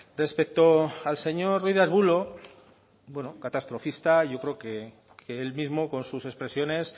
respecto al señor ruiz de arbulo bueno catastrofista yo creo que él mismo con sus expresiones